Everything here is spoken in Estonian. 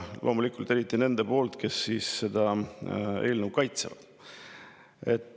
Loomulikult, eriti nende kõnesid, kes seda eelnõu kaitsevad.